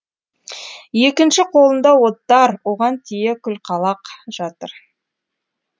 екінші қолында оттар оған тие күлқалақ жатыр